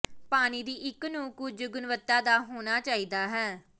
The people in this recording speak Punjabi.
ਪਾਣੀ ਦੀ ਇੱਕ ਨੂੰ ਕੁਝ ਗੁਣਵੱਤਾ ਦਾ ਹੋਣਾ ਚਾਹੀਦਾ ਹੈ